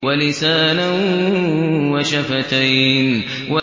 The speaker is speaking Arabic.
وَلِسَانًا وَشَفَتَيْنِ